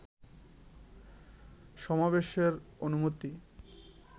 সমাবেশের অনুমতি